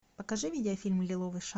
покажи видеофильм лиловый шар